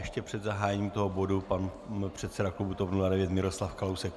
Ještě před zahájením toho bodu pan předseda klubu TOP 09 Miroslav Kalousek.